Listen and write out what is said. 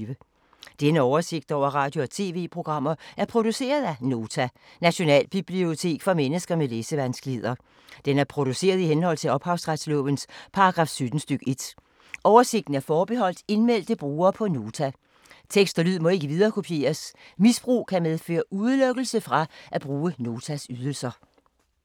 Denne oversigt over radio og TV-programmer er produceret af Nota, Nationalbibliotek for mennesker med læsevanskeligheder. Den er produceret i henhold til ophavsretslovens paragraf 17 stk. 1. Oversigten er forbeholdt indmeldte brugere på Nota. Tekst og lyd må ikke viderekopieres. Misbrug kan medføre udelukkelse fra at bruge Notas ydelser.